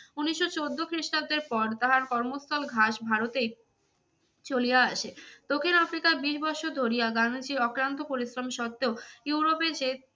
উনিশশো চোদ্দ খ্রিস্টাব্দের পর তাহার কর্মস্থল ঘাস ভারতেই চলিয়া আসে। দক্ষিণ আফ্রিকায় বিশ বৎসর ধরিয়া গান্ধীজীর অক্লান্ত পরিশ্রম সত্ত্বেও ইউরোপে যে